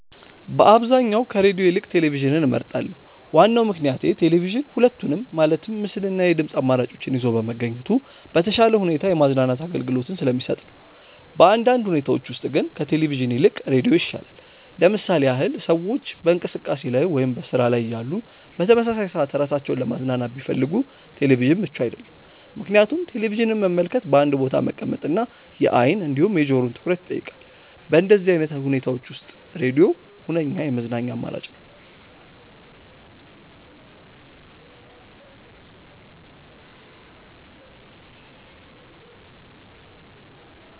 በአብዛኛው ከሬድዮ ይልቅ ቴሌቪዥንን እመርጣለሁ። ዋናው ምክንያቴ ቴሌቪዥን ሁለቱንም ማለትም ምስል እና የድምጽ አማራጮችን ይዞ በመገኘቱ በተሻለ ሁኔታ የማዝናናት አገልግሎትን ስለሚሰጥ ነው። በአንዳንድ ሁኔታዎች ውስጥ ግን ከቴሌቪዥን ይልቅ ሬዲዮ ይሻላል። ለምሳሌ ያህል ሰዎች በእንቅስቃሴ ላይ ወይም በስራ ላይ እያሉ በተመሳሳይ ሰዓት ራሳቸውን ለማዝናናት ቢፈልጉ ቴሌቪዥን ምቹ አይደለም፤ ምክንያቱም ቴሌቪዥንን መመልከት በአንድ ቦታ መቀመጥ እና የአይን እንዲሁም የጆሮውን ትኩረት ይጠይቃል። በእንደዚህ አይነት ሁኔታዎች ውስጥ ሬድዮ ሁነኛ የመዝናኛ አማራጭ ነው።